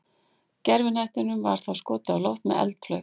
Gervihnettinum var þá skotið á loft með eldflaug.